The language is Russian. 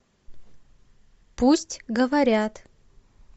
пусть говорят